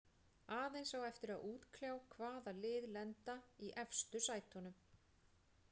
Aðeins á eftir að útkljá hvaða lið lenda í efstu sætunum.